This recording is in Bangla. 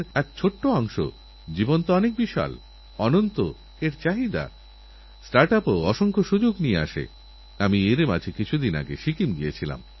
বিগত দিনে অনেক রাজ্য এই বর্ষা ঋতুর সুবিধা নিয়ে অনেক অভিযান চালিয়েছেভারত সরকারও এক কাম্পা আইন সম্প্রতি পাশ করেছে এইআইনের মাধ্যমে প্রায় চল্লিশ হাজার কোটিরও বেশি টাকা রাজ্যগুলিকে বৃক্ষরোপণের জন্যবিলি করা হচ্ছে